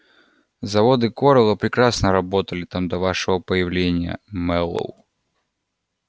заводы корела прекрасно работали там до вашего появления мэллоу